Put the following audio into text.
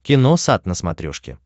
киносат на смотрешке